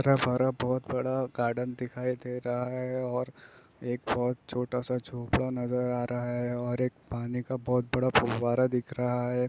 इतना सारा बोहोत बड़ा गार्डन दिखाई दे रहा हे ओर एक बोहोत छोटा स झोंपड़ा नजर आ रहा हे ओर एक पानी का बोहोत बड़ा फुव्वारा दिख रहा हे ।